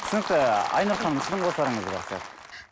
түсінікті айнұр ханым сіздің қосарыңыз бар сияқты